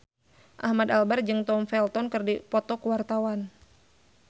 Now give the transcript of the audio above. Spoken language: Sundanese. Ahmad Albar jeung Tom Felton keur dipoto ku wartawan